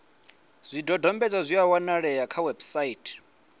zwidodombedzwa zwi a wanalea kha website